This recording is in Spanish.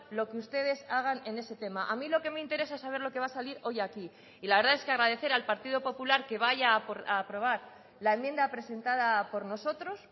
lo que ustedes hagan en ese tema a mí lo que me interesa saber lo que va a salir hoy aquí y la verdad es que agradecer al partido popular que vaya a aprobar la enmienda presentada por nosotros